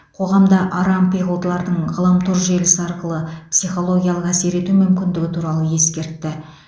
қоғамда арампиғылдылардың ғаламтор желісі арқылы психологиялық әсер ету мүмкіндігі туралы ескертті